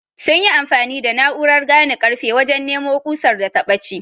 sunyi amfani da na'urar gane karfe wajen nemo kusar da ta bace